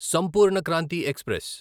Sampoorna Kranti express